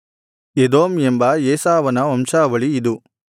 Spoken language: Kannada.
ಎದೋಮ್ ಎಂಬ ಏಸಾವನ ವಂಶಾವಳಿ ಇದು